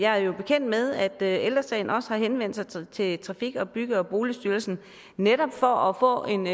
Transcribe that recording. er jo bekendt med at ældre sagen også har henvendt sig til trafik bygge og boligstyrelsen netop for at få en